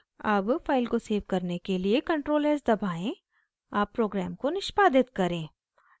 अब फाइल को सेव करने के लिए ctrl+s दबाएं अब प्रोग्राम को नष्पादित करें